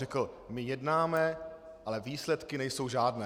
Řekl: My jednáme, ale výsledky nejsou žádné.